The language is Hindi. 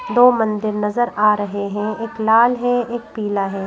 दो मंदिर नजर आ रहे हैं एक लाल है एक पीला हैं।